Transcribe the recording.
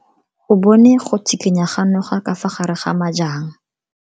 O bone go tshikinya ga noga ka fa gare ga majang.